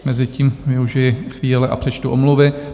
Mezitím využiji chvíle a přečtu omluvy.